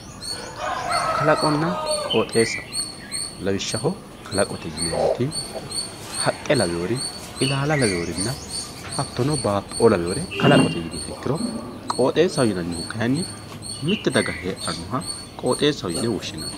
kalaqonna qooxeessa lawishshaho kalaqote yineemmoti haqqe lawinori ilaala lawinori hattono baatto''oo lawinori kalaqote yiniha ikkiro qooxeessaho yinannihu kayiinni mitte daga heedhannowa qooxeessaho yinanni.